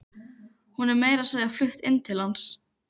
Hún er meira að segja flutt inn til hans.